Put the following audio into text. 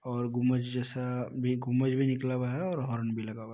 और गुंबज जैसा भी गुंबज भी निकला हुआ है और हॉर्न भी लगा हुआ --